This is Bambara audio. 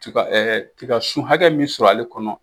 Tiga tiga sun hakɛ min sɔrɔ ale kɔnɔ